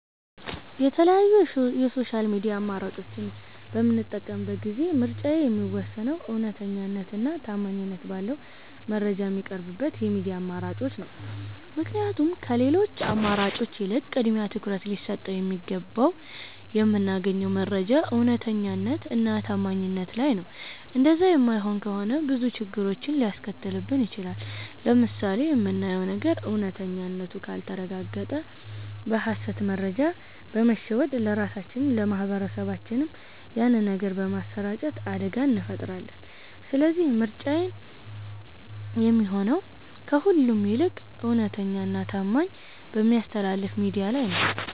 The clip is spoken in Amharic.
የተለያዩ የ ሶሻል ሚድያ አማራጮች በምጠቀምበት ጊዜ ምርጫዬ የሚወሰነው እውነተኛነት እና ታማኝት ባለው መረጃ ሚቀርብበት የሚድያ አማራጮችን ነው። ምክንያቱም ከሌሎቺ አማራጮች ይልቅ ቅድሚያ ትኩረት ሊሰጠው የሚገባው የምናገኘው መረጃ እውነተኛነት እና ታማኝነት ላይ ነው እንደዛ የማይሆን ከሆነ ብዙ ችግሮችን ሊያስከትልብን ይቺላል። ለምሳሌ የምናየው ነገር እውነተኛነቱ ካልተረጋገጠ በ ሀሰት መረጃ በመሸወድ ለራሳቺንም ለ ማህበረሰብም ያንን ነገር በማሰራጨት አደጋ እንፈጥራለን ስለዚህ ምርጫዬ የሚሆነው ከሁሉም ይልቅ እውነተኛ እና ታማኝት በሚያስተላልፍ ሚድያ ላይ ነው